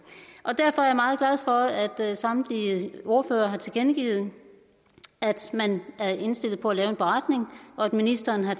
og derfor er jeg meget glad for at samtlige ordførere har tilkendegivet at man er indstillet på at lave en beretning og at ministeren har